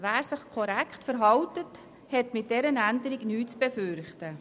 Wer sich korrekt verhält, hat mit dieser Änderung nichts zu befürchten.